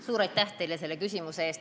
Suur aitäh teile selle küsimuse eest!